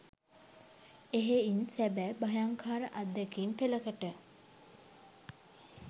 එහෙයින් සැබෑ භයංකාර අත්දැකීම් පෙලකට